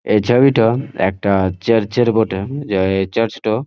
এই ছবিটো একটা চার্চ -এর বটে যাই চার্চ -টো--